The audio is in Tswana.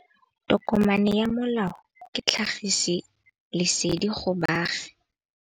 Tokomane ya molao ke tlhagisi lesedi go baagi.